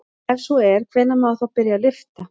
Ef svo er hvenær má þá byrja að lyfta?